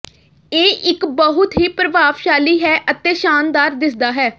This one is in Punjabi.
ਇਹ ਇੱਕ ਬਹੁਤ ਹੀ ਪ੍ਰਭਾਵਸ਼ਾਲੀ ਹੈ ਅਤੇ ਸ਼ਾਨਦਾਰ ਦਿਸਦਾ ਹੈ